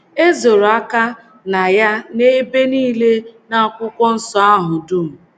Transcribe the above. E zoro aka na ya n’ebe nile n’akwụkwọ nsọ ahụ dum.